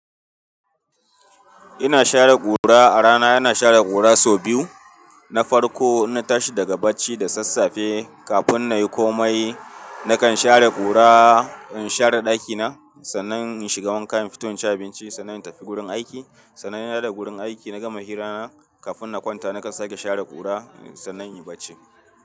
Ina share kura a rana, ina share kura sau biyu. Na farko, in na tashi daga bacci da sassafe kafin na yi komai. Nakan share kura, in share ɗakina sannan in shiga wanka, in fito in ci abinci sannan in tafi gurin aiki. Sannan ina da gurin aiki na gama hira na kafin na kwanta, nakan sake share kura sannan in yi bacci.